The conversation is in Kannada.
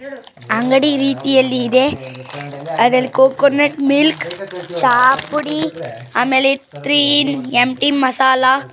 ಅಂಗಡಿ ರೀತಿಯಲ್ಲಿ ಇದೆ ಅದರ ಕೋಕನೆಟ್ ಮಿಲ್ಕ್ ಚಾಹ ಪುಡಿ ಆಮೇಲೆ ಥ್ರೀ ಇನ್ ಎಂ_ಟಿ ಮಸಾಲ.